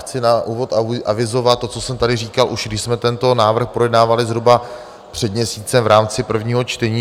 Chci na úvod avizovat to, co jsem tady říkal, už když jsme tento návrh projednávali zhruba před měsícem v rámci prvního čtení.